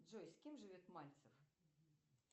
джой с кем живет мальцев